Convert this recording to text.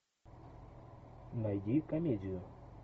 найди комедию